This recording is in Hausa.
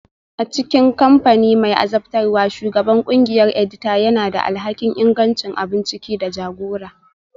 A cikin kamfani mai azabtarwa, Shugaban ƙungiyar edita yana da alhakin ingancin abun ciki da jagora